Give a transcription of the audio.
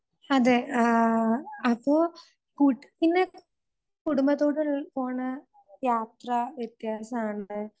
അതെ, ആഹ് അപ്പോ കുടുംബ ദൂതനിൽ പോണ യാത്ര വ്യത്യാസമാണ്.